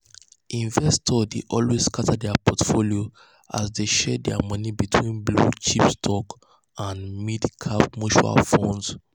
investors dey always scatter their portfolio as dey share their money between blue-chip stocks and mid-cap mutual funds.